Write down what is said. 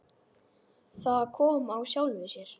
Það kom af sjálfu sér.